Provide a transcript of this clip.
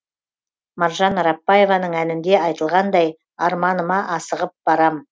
маржан арапбаеваның әнінде айтылғандай арманыма асығып барамын